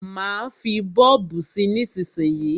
Má fí bọ́ọ̀bù sí nísísíyí.